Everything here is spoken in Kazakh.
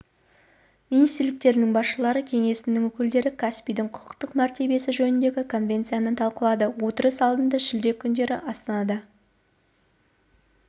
министрліктерінің басшылары кеңесінің өкілдері каспийдің құқықтық мәртебесі жөніндегі конвенцияны талқылады отырыс алдында шілде күндері астанада